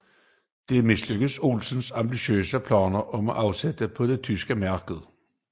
Der mislykkedes Olsens ambitiøse planer om afsætning på det tyske marked